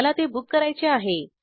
मला ते बुक करायचे आहे